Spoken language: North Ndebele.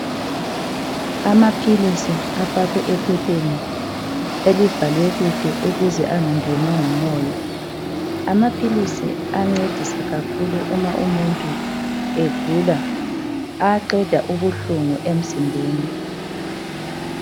Amaphilisi afakwe ephepheni elivalwe kuhle ukuze engangenwa ngumoya. Amaphilisi ayancedisa kakhulu nxa umuntu egula, ayaqeda ubuhlungu emzimbeni.